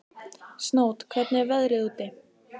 Snót, hvernig er veðrið úti?